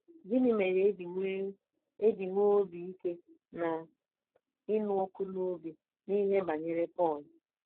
Gịnị mere e ji nwee e ji nwee obi ike na ịnụ ọkụ n’obi n’ihe banyere Pọl?